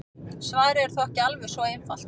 Svarið er þó ekki alveg svo einfalt.